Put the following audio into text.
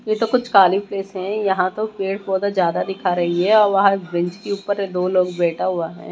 ये तो कुछ कालि प्लेस है यहां तो पेड़ पौधा ज्यादा दिखा रही है और वहां बेंच के ऊपर दो लोग बैठा हुआ है।